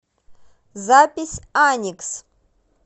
запись аникс